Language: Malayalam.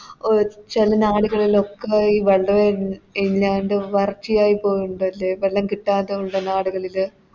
അഹ് ചെല നാട് കളില് ഒക്കെ ആയി വളരെ ഇല്ലാണ്ടും വർച്ചയായി പോയി ണ്ടല്ലേ വെള്ളം കിട്ടാത്ത നാട് കളില്